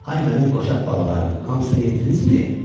Ay mənim qoçaq balalarım, hamısını yedinizmi?